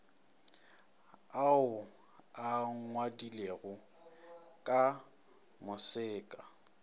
ao a ngwadilwego ka moseka